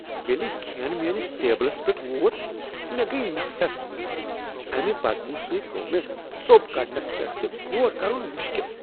ییٚلہ کھین میٲنس ٹیبلس پیٹھ ووت، مےٚ گٔیۍ نفرت۔ امہ بدبو سۭتۍ گوٚو مےٚ ژوٚپ کڈنس پیٹھ تہِ غور کرن تہ مشکل۔